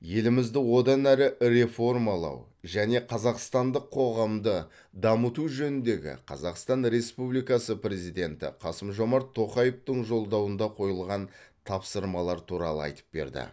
елімізді одан әрі реформалау және қазақстандық қоғамды дамыту жөніндегі қазақстан республикасының президенті қасым жомарт тоқаевтың жолдауында қойылған тапсырмалар туралы айтып берді